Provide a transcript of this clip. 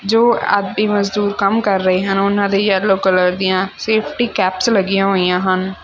ਜੋ ਆਦਮੀ ਮਜਦੂਰ ਕੰਮ ਕਰ ਰਹੇ ਹਨ ਉਹਨਾਂ ਦੇ ਯੈਲੋ ਕਲਰ ਦੀਆਂ ਸੇਫਟੀ ਕੈਪਸ ਲੱਗੀਆਂ ਹੋਈਆਂ ਹਨ।